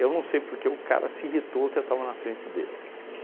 Eu não sei porque, o cara se irritou que eu estava na frente dele.